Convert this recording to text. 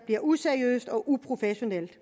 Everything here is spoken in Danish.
bliver useriøst og uprofessionelt